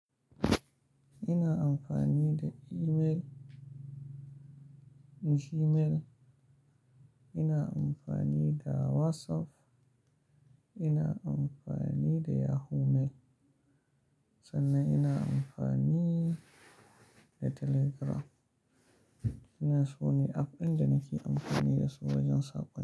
Ina amfani da email, Gmail, ina amfani da WhatsApp, ina amfani da Yahoo Mail, sannan ina amfani da Telegram. Ina so ni app in da nake amfani da su wajen saƙo.